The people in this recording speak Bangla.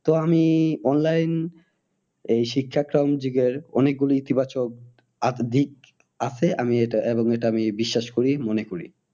তো আমি online এই শিক্ষাক্রম যুগের অনেক গুলি ইতি বাচক দিক আছে আমি এটা এবং এটা আমি বিশ্বাস করি মনে করি।